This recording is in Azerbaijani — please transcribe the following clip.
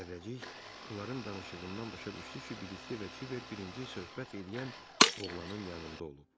Zərrəcik onların danışığından başa düşdü ki, Bilikli və Kiber birinci söhbət eləyən oğlanın yanında olub.